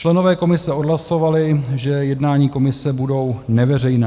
Členové komise odhlasovali, že jednání komise budou neveřejná.